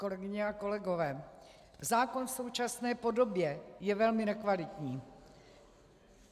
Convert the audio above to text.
Kolegyně a kolegové, zákon v současné podobě je velmi nekvalitní.